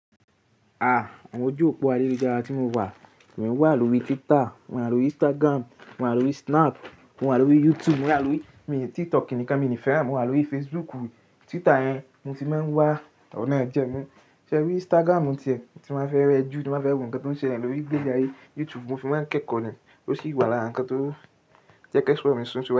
À, àwọn ojú òpó ayélujára tí mo wà, mò ń wà lórí Twitter, mò ń wà lórí Instagram, mò ń wà lórí Snap, mò ń wà lórí YouTube, mò ń wà lórí, mo ní TikTok nìkan mi ni fẹ́ràn, mò ń wà lórí Facebook. Twitter yẹn mo ti máa ń wà, ọ̀nà ẹ jẹ mí. Ṣé erí Instagram tìẹ? Ti n bá fẹ́ rẹ jú, ti n bá fẹ́ wo nǹkan tó ń ṣẹle lórí igbe ayé. YouTube mo fi máa ń kẹ́kọọ̀ ni, ó sì wà lára nǹkan tó jẹ́ kí esọ mi sun.